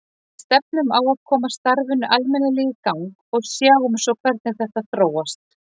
Við stefnum á að koma starfinu almennilega í gang og sjáum svo hvernig þetta þróast.